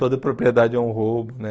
Toda propriedade é um roubo, né?